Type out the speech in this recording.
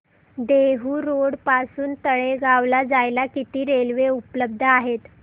Dehu road पासून तळेगाव ला जायला किती रेल्वे उपलब्ध आहेत